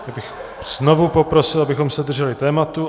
Já bych znovu poprosil, abychom se drželi tématu.